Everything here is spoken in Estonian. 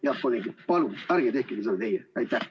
Head kolleegid, palun ärge tehke seda ka teie!